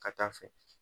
Ka taa fɛ